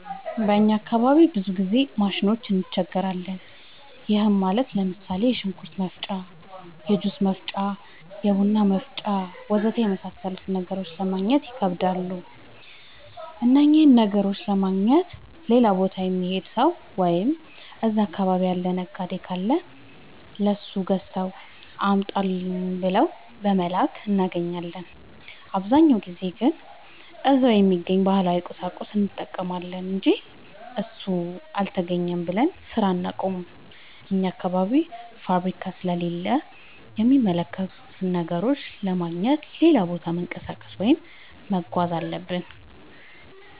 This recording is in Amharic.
በእኛ አካባቢ ብዙ ጊዜ ማሽኖች እንቸገራለን። ይህም ማለት ለምሳሌ፦ የሽንኩርት መፍጫ፣ የጁስ መፍጫ፣ የቡና መፍጫ.... ወዘተ የመሣሠሉትን ነገሮች ለማገግኘት ይከብዳሉ። እነኝህን ነገሮች ለማግኘት ሌላ ቦታ የሚሄድ ሠው ወይም እዛ አካባቢ ያለ ነጋዴ ካለ ለሱ ገዝተህ አምጣልኝ ብለን በመላክ እናገኛለን። አብዛኛውን ጊዜ ግን እዛው በሚገኝ ባህላዊ ቁሳቁስ እንጠቀማለን አንጂ እሱ አልተገኘም ብለን ስራ አናቆምም። አኛ አካባቢ ፋብሪካ ስለሌለ የሚመረቱ ነገሮችን ለማግኘት ሌላ ቦታ መንቀሳቀስ ወይም መጓዝ አለብን።